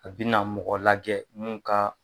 A bina mɔgɔ lajɛ mun ka.